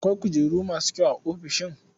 Akwai kujeru masu kyau a ofishin?